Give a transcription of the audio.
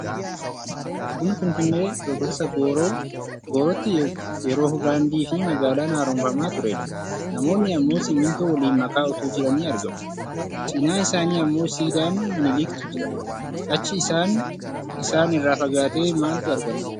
Kun Finfinnee Birbirsa goorootti yeroo Daandii fi magaalaan haromfamaa turedha. Namoonni ammoo simintoo waliin makaa otuu jiranii argamu. Cinaa isaanii ammoo siidaan Miniliktu jira. Achi isaan irraa fagaatee maaltu argama?